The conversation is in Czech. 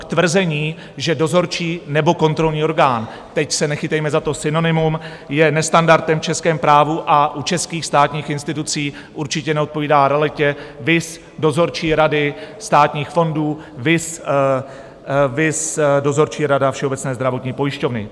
K tvrzení, že dozorčí nebo kontrolní orgán - teď se nechytejme za to synonymum - je nestandardem v českém právu a u českých státních institucí, určitě neodpovídá realitě, viz dozorčí rady státních fondů, viz dozorčí rada Všeobecné zdravotní pojišťovny.